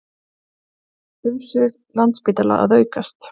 Umsvif Landspítala að aukast